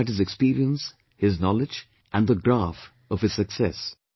You only look at his experience, his knowledge, and the graph of his success